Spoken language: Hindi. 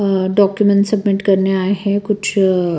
अ डॉक्यूमेंट सबमिट करने आए हैं कुछ--